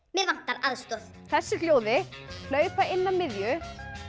mig vantar aðstoð þessu hljóði hlaupa inn að miðju